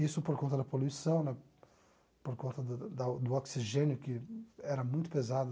Isso por conta da poluição né, por conta da do do oxigênio, que era muito pesado.